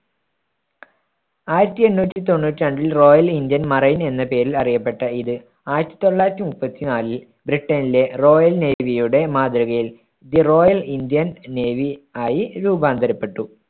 ആയിരത്തി എണ്ണൂറ്റി തൊണ്ണൂറ്റി രണ്ടിൽ റോയൽ ഇന്ത്യൻ മറൈൻ എന്ന പേരിൽ അറിയപ്പെട്ട ഇത്, ആയിരത്തി തൊള്ളായിരത്തി മുപ്പത്തി നാലിൽ ബ്രിട്ടന്‍ലെ റോയൽ നേവിയുടെ മാതൃകയിൽ ദി റോയൽ ഇന്ത്യൻ നേവി ആയി രൂപാന്തരപ്പെട്ടു.